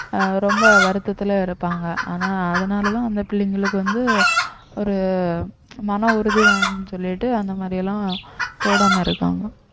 அஹ் ரொம்ப வருத்தத்தில இருப்பாங்க ஆனா அதனாலதான் அந்த பிள்ளைங்களுக்கு வந்து ஒரு மன உறுதி வேணும்னு சொல்லிட்டு அந்த மாதிரி எல்லாம் போடாம இருக்காங்க